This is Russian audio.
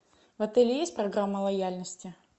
в отеле есть программа лояльности